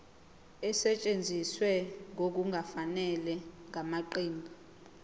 esetshenziswe ngokungafanele ngamaqembu